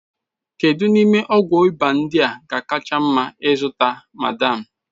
Kedu n'ime ọgwụ ịba ndị a ga-akacha mma ịzụta, madam?